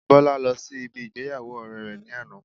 Bola lọ sí ibi ìgbéyàwó ọ̀rẹ́ rẹ ní àná